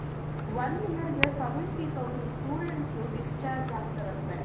one yearಗೆ seventy thousand students discharge ಆಗ್ತಾರಂತೆ.